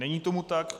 Není tomu tak.